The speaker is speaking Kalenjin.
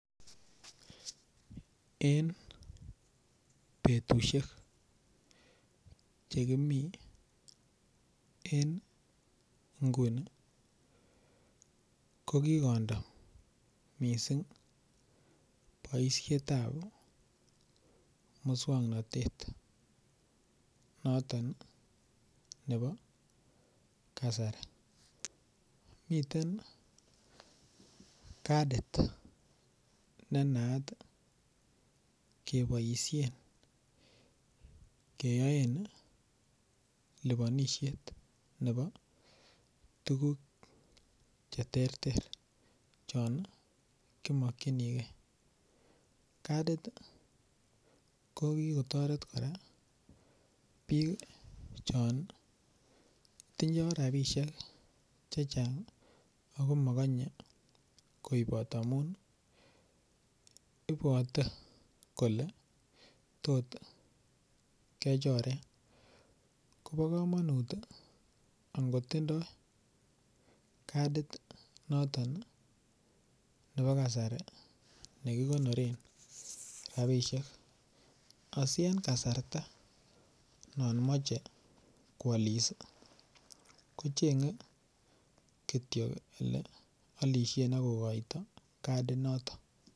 En betusiek Che kimi en nguni ko ki kondo boisiet ab moswoknatet noton nebo kasari miten kadit ne naat keboisien keyoen lipanisiet nebo tuguk Che terter chon ki mokyinigei kadit ko kotoret kora bik chon tindoi rabisiek Che Chang ako mokonye koibot amun ibwote kole tot kechoren kobo kamanut ango tindoi kadit noton nebo kasari ne kigonoren rabisiek asi en kasarta non moche koalis ko chengei Kityo Ole alisien ak kogoito kadinoton